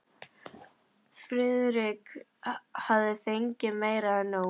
Friðrik hafði fengið meira en nóg.